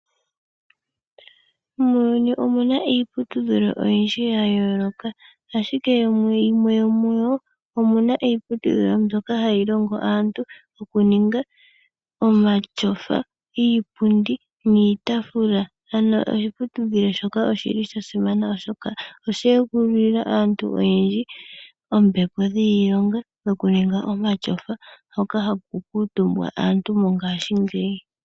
Muuyuni omuna iiputudhilo oyindji ya yooloka ashike yimwe yomuyo omuna iipilutudhilo mbyoka hayi longo aantu okuninga omatyofa, iipundi niitafula ano oshiputudhilo shoka oshili shasimana oshoka oshe egululila aantu oyendji oompito dhiilonga moku ninga omatyofa mpoka hapu kuutumba aantu mongashingeyi.